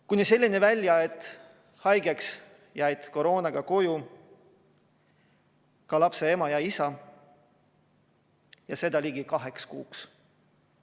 Kõik see viis välja selleni, et koroonaga jäid haigeks ja koju ka lapse ema ja isa, ja seda ligi kaheks kuuks.